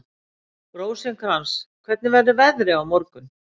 Rósinkrans, hvernig verður veðrið á morgun?